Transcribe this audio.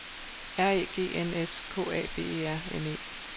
R E G N S K A B E R N E